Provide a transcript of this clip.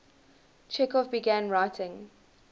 chekhov began writing